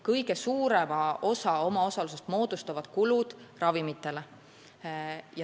Kõige suurema osa omaosalusest moodustavad kulutused ravimitele.